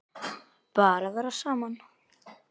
Bara vera saman.